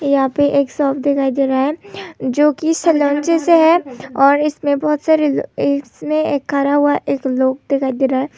यहां पर एक शॉप दिखाई दे रहा है जो कि से है और इसमें बहुत सारे इसमें खड़ा हुआ एक लोग दिखाई दे रहा है।